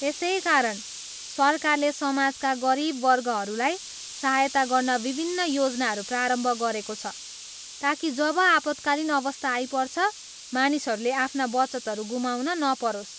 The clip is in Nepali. त्यसै कारण सरकारले समाजका गरिब वर्गहरूलाई सहायता गर्न विभिन्न योजनाहरू प्रारम्भ गरेको छ, ताकि जब आपतकालीन अवस्था आइपर्छ, मानिसहरूले आफ्ना बचतहरू गुमाउन नपरोस्।